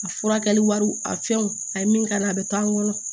A furakɛli wari a fɛnw a ye min k'a la a bɛ k'an kɔnɔ